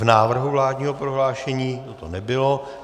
V návrhu vládního prohlášení toto nebylo.